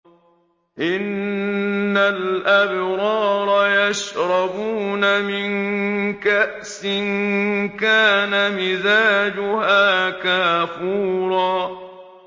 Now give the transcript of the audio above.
إِنَّ الْأَبْرَارَ يَشْرَبُونَ مِن كَأْسٍ كَانَ مِزَاجُهَا كَافُورًا